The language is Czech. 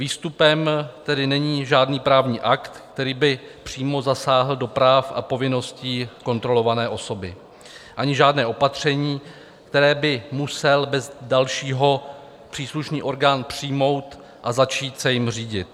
Výstupem tedy není žádný právní akt, který by přímo zasáhl do práv a povinností kontrolované osoby, ani žádné opatření, které by musel bez dalšího příslušný orgán přijmout a začít se jím řídit.